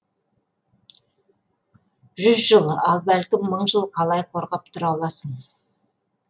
жүз жыл а бәлкім мың жыл қалай қорғап тұра аласың